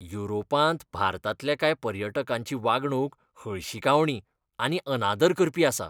युरोपांत भारतांतल्या कांय पर्यटकांची वागणूक हळशिकावणी आनी अनादर करपी आसा.